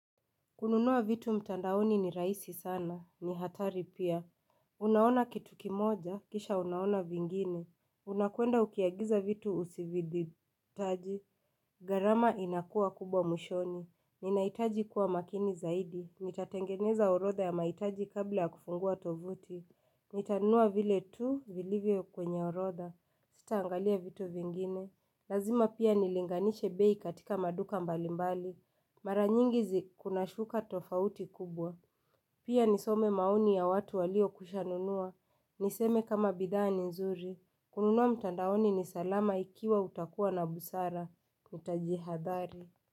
Kununua vitu mtandaoni ni rahisi sana, ni hatari pia. Unaona kitu kimoja, kisha unaona vingine. Unakwenda ukiagiza vitu usivyo vihitaji. Gharama inakuwa kubwa mwishoni. Ninahitaji kuwa makini zaidi. Nitatengeneza orodha ya mahitaji kabla ya kufungua tovuti. Nitanunua vile tu, vilivyo kwenye orodha. Sitaangalia vitu vingine. Lazima pia nilinganishe bei katika maduka mbalimbali. Mara nyingi zi kuna shuka tofauti kubwa. Pia nisome maoni ya watu waliokwisha nunua. Niseme kama bidhaa ni nzuri. Kununua mtandaoni ni salama ikiwa utakuwa na busara. Nitajihadhari.